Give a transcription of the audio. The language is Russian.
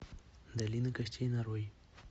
долина костей нарой